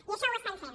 i això ho estem fent